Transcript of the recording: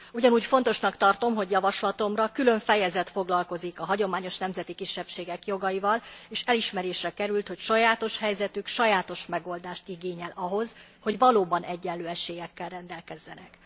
Ugyanúgy fontosnak tartom, hogy javaslatomra külön fejezet foglalkozik a hagyományos nemzeti kisebbségek jogaival, és elismerésre került, hogy sajátos helyzetük sajátos megoldást igényel ahhoz, hogy valóban egyenlő esélyekkel rendelkezzenek.